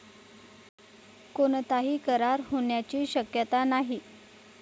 कोणताही करार होण्याचीही शक्यता नाही.